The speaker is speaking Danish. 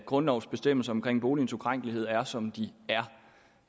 grundlovens bestemmelser om boligens ukrænkelighed er som de